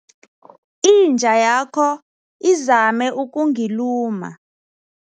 Inja yakho izame ukungiluma.